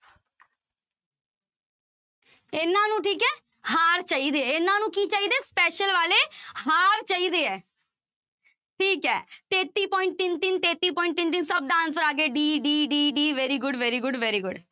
ਇਹਨਾਂ ਨੂੰ ਠੀਕ ਹੈ ਹਾਰ ਚਾਹੀਦੇ ਹੈ, ਇਹਨਾਂ ਨੂੰ ਕੀ ਚਾਹੀਦੇ ਹੈ special ਵਾਲੇ ਹਾਰ ਚਾਹੀਦੇ ਹੈ ਠੀਕ ਹੈ ਤੇਤੀ point ਤਿੰਨ ਤਿੰਨ ਤੇਤੀ point ਤਿੰਨ ਤਿੰਨ ਸਭ ਦਾ answer ਆ ਗਿਆ d, d, d, d very good, very good, very good